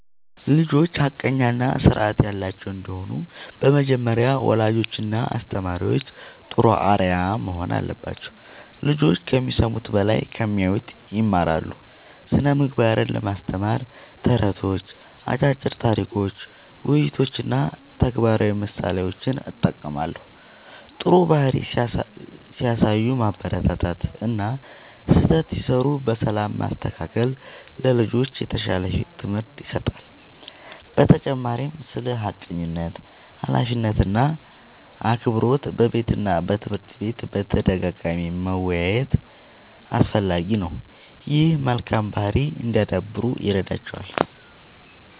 ልጆች ሐቀኛ እና ስርዓት ያላቸው እንዲሆኑ በመጀመሪያ ወላጆችና አስተማሪዎች ጥሩ አርአያ መሆን አለባቸው። ልጆች ከሚሰሙት በላይ ከሚያዩት ይማራሉ። ስነ ምግባርን ለማስተማር ተረቶች፣ አጫጭር ታሪኮች፣ ውይይቶች እና ተግባራዊ ምሳሌዎችን እጠቀማለሁ። ጥሩ ባህሪ ሲያሳዩ ማበረታታት እና ስህተት ሲሠሩ በሰላም ማስተካከል ለልጆች የተሻለ ትምህርት ይሰጣል። በተጨማሪም ስለ ሐቀኝነት፣ ኃላፊነት እና አክብሮት በቤትና በትምህርት ቤት በተደጋጋሚ መወያየት አስፈላጊ ነው። ይህም መልካም ባህሪ እንዲያዳብሩ ይረዳቸዋል።